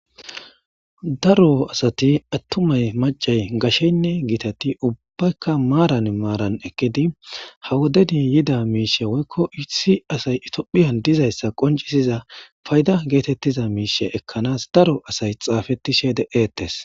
daro asati attumay macay gasheynne giitati ubbaykka maaran maaran ekkidi ha wodeni yida miishe woykko issi asay itophiyan dizayssa qoncisiza fayda geetettiza miishe ekkanaas daro asay xaafetishe de7eettes.